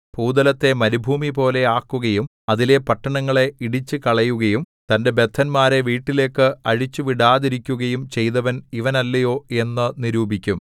ഭൂതലത്തെ മരുഭൂമിപോലെ ആക്കുകയും അതിലെ പട്ടണങ്ങളെ ഇടിച്ചുകളയുകയും തന്റെ ബദ്ധന്മാരെ വീട്ടിലേക്ക് അഴിച്ചുവിടാതിരിക്കുകയും ചെയ്തവൻ ഇവനല്ലയോ എന്നു നിരൂപിക്കും